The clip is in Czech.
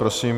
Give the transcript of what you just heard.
Prosím.